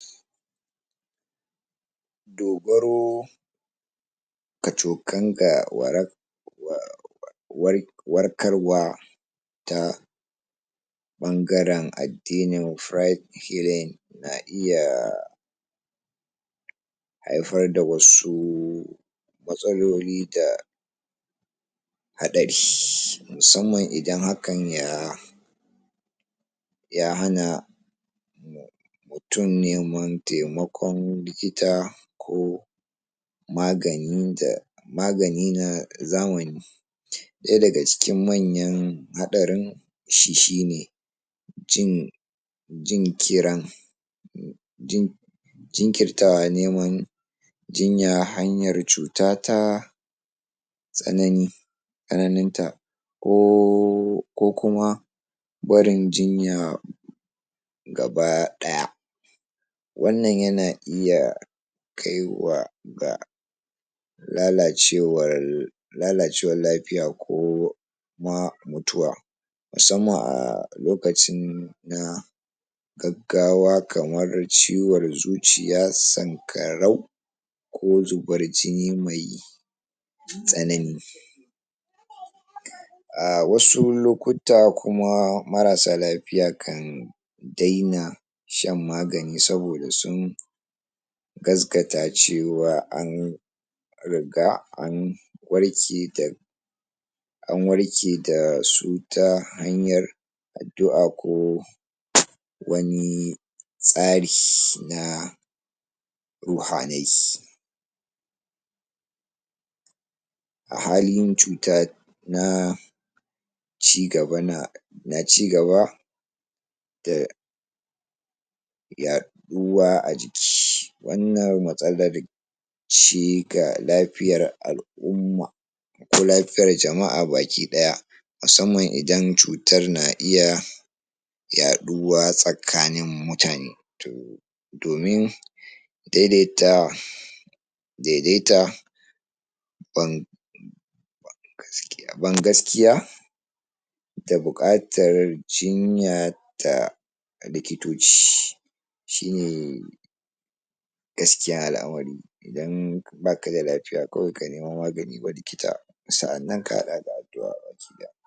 dogaro kacokan ga wara wa war warkar wa ta ɓangaren addinin na iya haifar da wasu matsaloli da haɗari musamman idan hakan ya ya hana mutum yin wan taimakon likita ko magani da magani na zamani ɗaya daga cikin manyan haɗarin shi shine jin jin kiran jin jinkirtawa neman jinnya hanyar cuta ta tsanani tsananin ta ko ko kuma barin jinya gaba ɗaya. wannan yana iya kaiwa ga lalacewar lalacewar lafiya koma mutuwa musamman a lokacin na gaggawa kamar ciwor zuciya, sanƙarau ko zubar jini mai tsanani a wasu lokutta kuma marasa lafiya kan daina shan magani saboda sun gazgata cewa an riga an warke da an warke dasu ta hanyar addu'a ko wani tsari na ruhanai. a halin cuta na ci gaba na cigaba da yaɗuwa a jiki wannan matsalar ce ga lafiyar al'umma lafiyar jama'a baki ɗaya musamman idan cutar na iya yaɗuwa tsakanin mutane to domin daidaita daidaita wan gaskiya ban gaskiya da buƙatar jinya ta likitoci shine gaskiya al'amari idan baka da lafiya kawai ka nemi magan wa likita sa'annan ka haɗa da addu'a baki ɗaya.